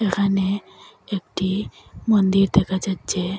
এখানে একটি মন্দির দেখা যাচ্ছে।